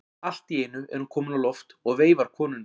Allt í einu er hún komin á loft og veifar konunni.